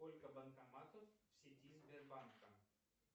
сколько банкоматов в сети сбербанка